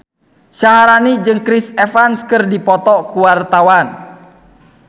Syaharani jeung Chris Evans keur dipoto ku wartawan